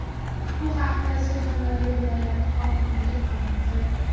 Bu haqda Surxondaryo viloyati hokimligi ma’lum qildi .